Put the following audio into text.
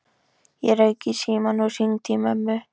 Ég rauk í símann og hringdi í mömmu.